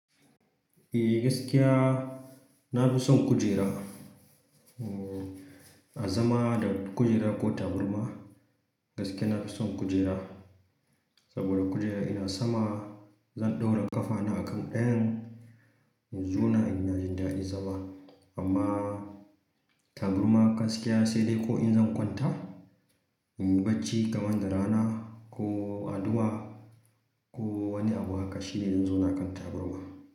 Eh gaskiya na fi son kujera, a zama da kujera ko taburma. Gaskiya na fi son kujera, saboda kujera ina sama zan ɗora ƙafana a kan ɗayan, in zauna ina jin daɗin zama. Amma taburma gaskiya sai dai ko in zan kwanta, in yi bacci kamanda rana ko addu'a ko wani abu haka shine zan zo na kan taburma.